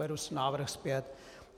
Beru návrh zpět.